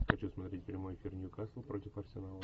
хочу смотреть прямой эфир ньюкасл против арсенала